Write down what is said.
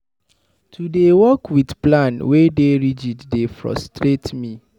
To dey work wit plan wey dey rigid dey frustrate me.